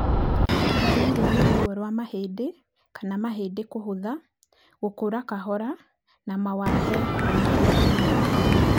Ndariri nĩ ruo rwa mahĩndĩ kana mahĩndĩ kũhũtha, gũkũra kahora na mawathe ma mahĩndĩ na magego.